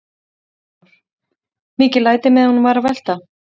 Kristján Már: Mikil læti meðan hún var að velta?